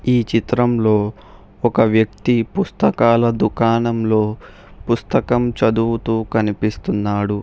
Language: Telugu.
ఈ చిత్రంలో ఒక వ్యక్తి పుస్తకాల దుకాణంలో పుస్తకం చదువుతూ కనిపిస్తున్నాడు.